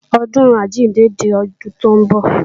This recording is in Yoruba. ọdun àjíǹde di ọdún tó ń bọ̀